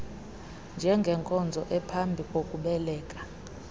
njengenkonzo ephambi kokubeleka